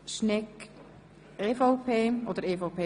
Grüne (Imboden, Bern)